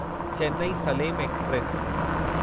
Chennai Salem express